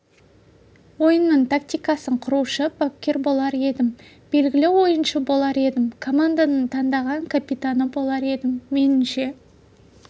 ойынның тактикасын құрушы бапкер болар едім белгілі ойыншы болар едім команданың таңдаған капитаны болар едім меніңше